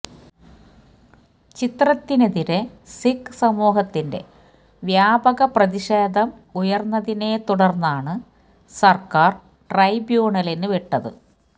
ചിത്രത്തിനെതിരെ സിഖ് സമൂഹത്തിന്റെ വ്യാപക പ്രതിഷേധം ഉയര്ന്നതിനെത്തുടര്ന്നാണ് സര്ക്കാര് ട്രൈബ്യൂണലിന് വിട്ടത്